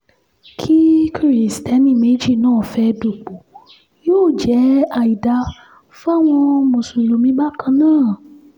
kí kiristeni méjì náà fẹ́ẹ́ dúpọ̀ yóò jẹ́ àìdáa fáwọn mùsùlùmí bákan náà